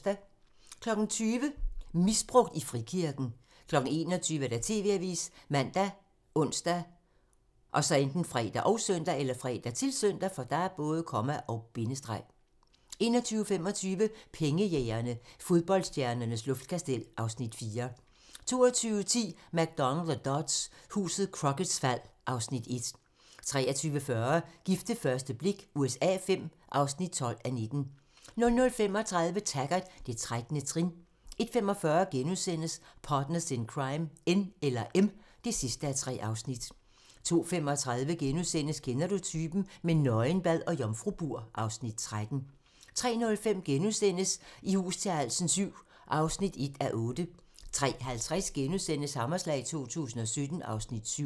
20:00: Misbrugt i frikirken 21:00: TV-avisen ( man, ons, fre, -søn) 21:25: Pengejægerne - Fodboldstjernernes luftkastel (Afs. 4) 22:10: McDonald og Dodds: Huset Crocketts fald (Afs. 1) 23:40: Gift ved første blik USA V (12:19) 00:35: Taggart: Det 13. trin 01:45: Partners in Crime: N eller M (3:3)* 02:35: Kender du typen? - med nøgenbad og jomfrubur (Afs. 13)* 03:05: I hus til halsen VII (1:8)* 03:50: Hammerslag 2017 (Afs. 7)*